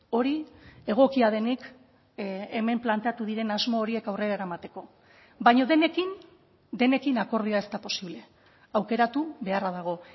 hori egokia denik hemen planteatu diren asmo horiek aurrera eramateko baina denekin denekin akordioa ez da posible aukeratu beharra dago